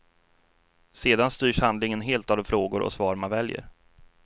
Sedan styrs handlingen helt av de frågor och svar man väljer.